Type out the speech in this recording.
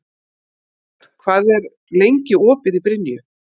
Á Laugarvatni var hinsvegar verið að opna leið, sem var að minnsta kosti mjög ódýr.